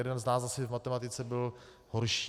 Jeden z nás asi v matematice byl horší.